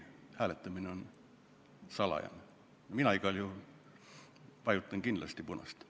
Hääletamine on küll salajane, aga ma ütlen, et mina igal juhul vajutan kindlasti punast nuppu.